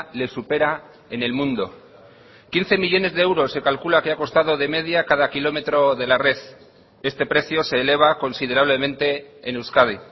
le supera en el mundo quince millónes de euros se calcula que ha costado de media cada kilómetro de la red este precio se eleva considerablemente en euskadi